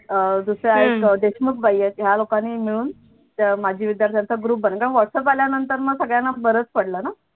अं दुसऱ्या आहेत देशमुख बाई आहेत या लोकांनी मिळून त्या माजी विद्यार्थ्यांचा group बनवला whatsapp आल्यानंतर मग सगळ्यांना बरच पडलं ना